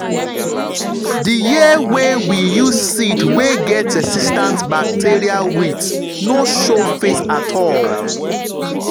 the year wey we use seed wey get resistance bacterial wilt no show face at all.